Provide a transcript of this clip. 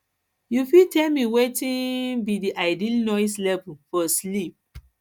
you fit tell me wetin um be di ideal noise um level for sleep